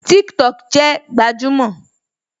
TikTok jẹ gbajúmò